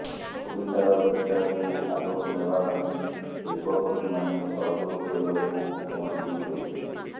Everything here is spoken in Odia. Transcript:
ଓଡ଼ିଶାର ବିକାଶକୁ ଆଗକୁ ନେବା ପାଇଁ ଶିଳ୍ପପତିମାନେ ସହଯୋଗ କରିବାକୁ ମୁଖ୍ୟମନ୍ତ୍ରୀ କହିଥିଲେ